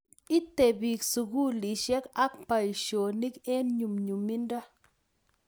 ite piik sukulishek ak boishonik eng nyumnyumindo